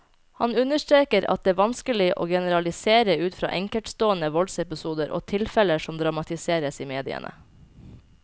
Han understreker at det vanskelig å generalisere ut fra enkeltstående voldsepisoder og tilfeller som dramatiseres i mediene.